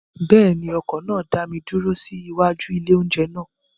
Bẹ́ẹ̀ ni, ọkọ̀ náà dá mi dúró sí iwájú ilé-oúnjẹ náà.